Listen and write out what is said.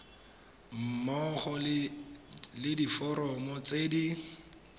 mmogo le diforomo tse di